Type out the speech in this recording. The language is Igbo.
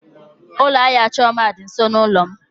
Ụlọ ahịa Chioma dị nso n'ụlọ m.